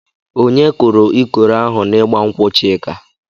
Onye kụrụ ikoro ahụ n'igba nkwụ Chika?